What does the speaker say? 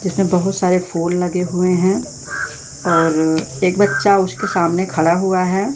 जिसमें बहुत सारे फूल लगे हुए हैं और एक बच्चा उसके सामने खड़ा हुआ है।